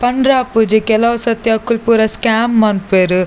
ಪಂಡ್ರೆ ಆಪುಜಿ ಕೆಲವುಸತ್ತಿ ಅಕುಲು ಪೂರ ಸ್ಕ್ಯಾಮ್ ಮನ್ಪುವೆರ್.